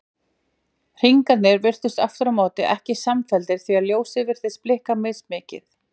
Hringarnir virtust aftur á móti ekki samfelldir því ljósið virtist blikka mismikið.